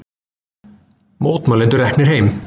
Mótmælendur reknir heim